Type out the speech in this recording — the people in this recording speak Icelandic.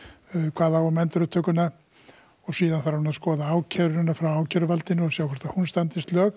kvað á um endurupptökuna síðan þarf hann að skoða ákæruna frá ákæruvaldinu og sjá hvort hún standist lög